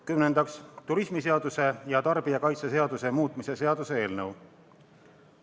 Kümnendaks, turismiseaduse ja tarbijakaitseseaduse muutmise seaduse eelnõu.